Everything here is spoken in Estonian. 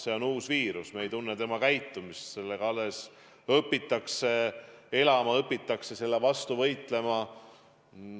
See on uus viirus, me ei tunne tema käitumist, sellega alles õpitakse elama, õpitakse selle vastu võitlema.